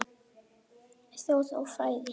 Þjóð og fræði